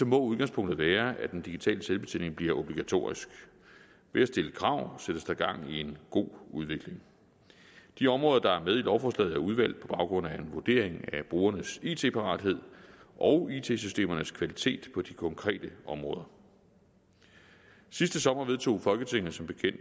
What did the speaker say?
må udgangspunktet være at den digitale selvbetjening bliver obligatorisk ved at stille krav sættes der gang i en god udvikling de områder der er med i lovforslaget er udvalgt på baggrund af en vurdering af brugernes it parathed og it systemernes kvalitet på de konkrete områder sidste sommer vedtog folketinget som bekendt